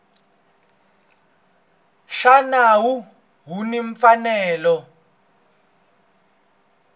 xa nawu u ni mfanelo